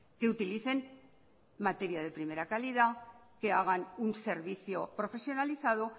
que utilicen material de primera calidad que hagan un servicio profesionalizado